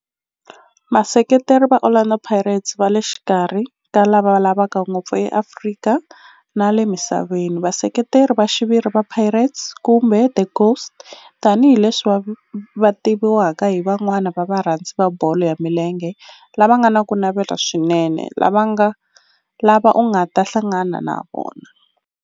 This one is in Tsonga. Vaseketeri va Orlando Pirates va le xikarhi ka lava lavaka ngopfu eAfrika na le misaveni, Vaseketeri va xiviri va Pirates, kumbe 'the Ghost', tani hi leswi va tiviwaka hi van'wana va varhandzi va bolo ya milenge lava nga na ku navela swinene lava u nga ta hlangana na vona.